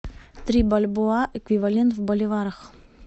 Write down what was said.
три бальбоа эквивалент в боливарах